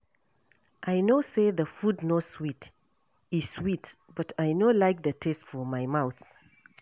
I no say the food no sweet, e sweet but I no like the taste for my mouth